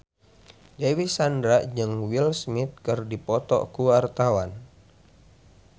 Dewi Sandra jeung Will Smith keur dipoto ku wartawan